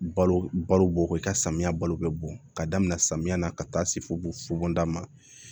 Balo balo bɔ i ka samiya balo bɛ bɔn ka daminɛ samiyɛ na ka taa se fo da ma